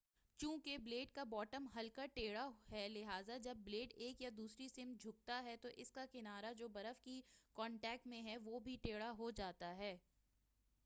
چوں کہ بلیڈ کا باٹم ہلکا ٹیڑھا ہے لہذا جب بلیڈ ایک یا دوسری سمت جھکتا ہے تو اس کا کنارہ جو برف کے کنٹیکٹ میں ہے وہ بھی ٹیڑھا ہو جاتا ہے